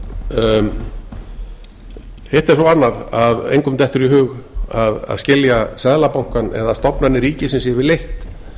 hitt er svo annað að engum dettur í hug að skilja seðlabankann eða stofnanir ríkisins yfirleitt